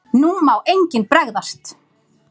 NÚ MÁ ENGINN BREGÐAST!